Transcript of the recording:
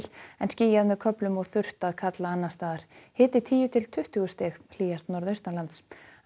en skýjað með köflum og þurrt að kalla annars staðar hiti tíu til tuttugu stig hlýjast norðaustanlands